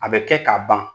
A bɛ kɛ ka ban